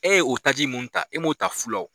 E ye o taaji mun ta, e m'o ta fu la wo.